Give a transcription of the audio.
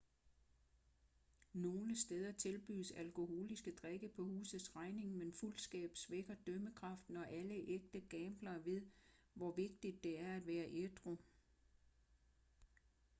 nogle steder tilbydes alkoholiske drikke på husets regning men fuldskab svækker dømmekraften og alle ægte gamblere ved hvor vigtigt det er at være ædru